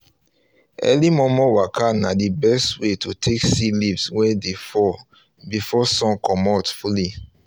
early momo waka na the best way to take see leaves wey dey fall before sun comot fully